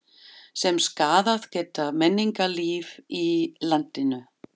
sem skaðað geta menningarlíf í landinu.